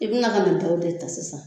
I bi na ka na dɔw de ta sisan